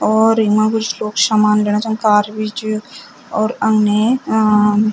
और इम्मा कुछ लोग शामान लेणा छन कार भी च और अग्ने अ-अ --